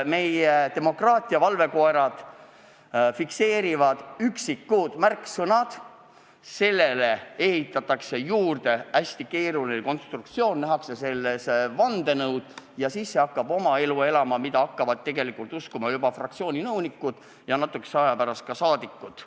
Meie demokraatia valvekoerad fikseerivad üksikud märksõnad, nendele ehitatakse juurde hästi keeruline konstruktsioon, nähakse selles vandenõu, ja siis see hakkab elama oma elu, mida hakkavad tegelikult uskuma ka fraktsiooni nõunikud ja natukese aja pärast ka rahvasaadikud.